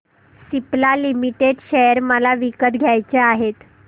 Cipla limited share मला विकत घ्यायचे आहेत